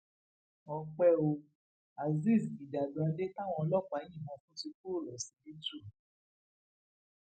ọpẹ o azeez ijàdùàdé táwọn ọlọpàá yìnbọn fún ti kúrò lọsibítù